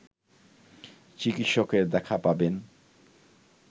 চিকিৎসকের দেখা পাবেন